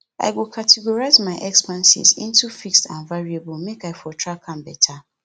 i go categorize my expenses into fixed and variable make i for track am beta